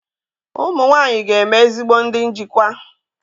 Ụmụ nwanyị ga-eme ezigbo ndị njikwa.